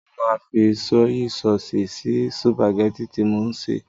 Mo máa fi sọ́yí sọọ̀sì sí sùpàgẹ́tì tí mò ń sè.